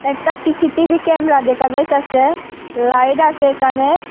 একটা CCTV camera দেখা যাইতেছে লাইট আসে এখানে।